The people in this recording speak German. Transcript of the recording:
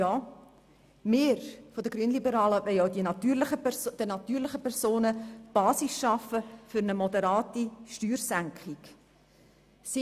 Ja, wir von den Grünliberalen wollen auch für die natürlichen Personen die Basis für eine moderate Steuersenkung schaffen.